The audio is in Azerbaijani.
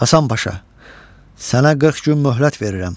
Həsən Paşa, sənə 40 gün möhlət verirəm.